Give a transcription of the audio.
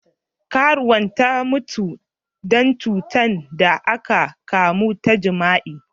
Karuwan ta mutu dan cutan da akan kamu ta jima'i.